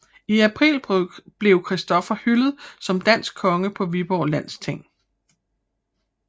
I april blev Christoffer hyldet som dansk konge på Viborg landsting